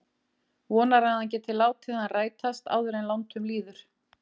Vonar að hann geti látið hann rætast áður en langt um líður.